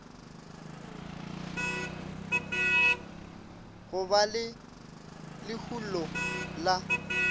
go ba le lehulo la